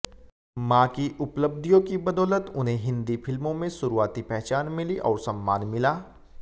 मां की उपलब्धियों की बदौलत उन्हें हिंदी फिल्मों में शुरुआती पहचान मिली और सम्मान मिला